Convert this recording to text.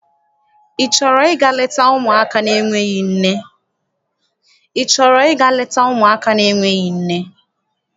Ị chọrọ ịga leta ụmụaka n'enweghị nne?